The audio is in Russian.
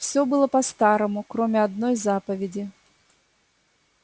всё было по-старому кроме одной заповеди